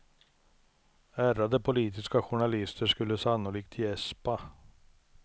Ärrade politiska journalister skulle sannolikt gäspa.